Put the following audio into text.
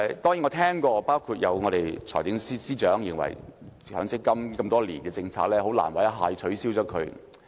當然，我聽過，包括財政司司長也認為強積金這項實行多年的政策，很難一下子便取消。